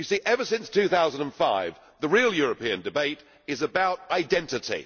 You see, ever since 2005, the real European debate has been about identity.